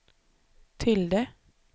tilde